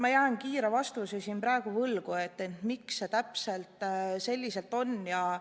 Ma jään vastuse praegu võlgu, ma ei tea, miks see täpselt selliselt on kehtestatud.